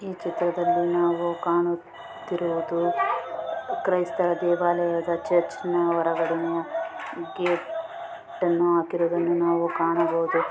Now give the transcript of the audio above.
ಚಿತ್ರದಲ್ಲಿ ನಾವು ಕಾಣುತ್ತಿರುವುದು ಕ್ರೈಸ್ತರ ದೇವಾಲಯದ ಚರ್ಚ್ ನ ಹೊರಗಡೆನೆ ಗೇಟನ್ನು ಹಾಕಿರುವುದನ್ನು ನಾವು ಕಾಣಬದುಹು .